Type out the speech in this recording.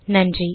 நன்றி